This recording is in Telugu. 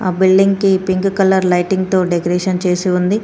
బిల్డింగ్ కి పింక్ కలర్ లైటింగ్ తో డెకరేషన్ చేసి ఉంది.